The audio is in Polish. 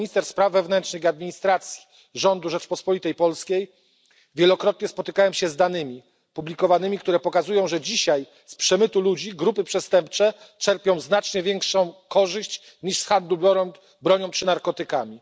Jako minister spraw wewnętrznych i administracji rządu Rzeczpospolitej Polskiej wielokrotnie spotykałem się z publikowanymi danymi, które pokazują, że dzisiaj z przemytu ludzi grupy przestępcze czerpią znacznie większą korzyść niż z handlu bronią czy narkotykami.